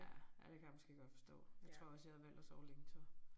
Ja ja det kan jeg måske godt forstå. Jeg tror også jeg havde valgt at sove længe så